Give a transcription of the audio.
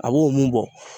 A b'o mun bɔ